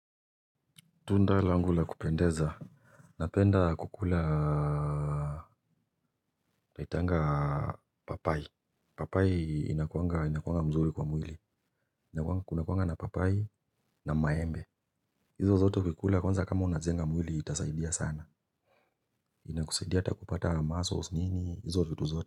Tunda langu la kupendeza napenda kukula Taitanga papai. Papai inakuanga mzuri kwa mwili. Kuna kuanga na papai na maembe. Hizo zoto kukula kwanza kama unajenga mwili itasaidia sana. Inakusaidia takupata muscles nini hizo vitu zoto.